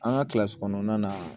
An ka kilasi kɔnɔnana